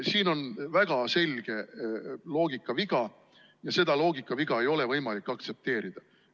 Siin on väga selge loogikaviga ja seda loogikaviga ei ole võimalik aktsepteerida.